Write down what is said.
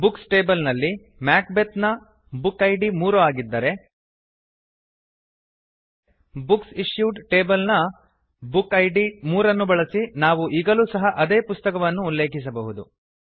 books tables ನಲ್ಲಿ Macbeth ನ book id 3 ಆಗಿದ್ದರೆ ಬುಕ್ಸ್ ಇಶ್ಯೂಡ್ ಟೇಬಲ್ಸ್ ನ ಬುಕ್ ಇದ್ 3 ಅನ್ನು ಬಳಸಿ ನಾವು ಈಗಲೂ ಸಹ ಅದೇ ಪುಸ್ತಕವನ್ನು ಉಲ್ಲೇಖಿಸಬಹುದು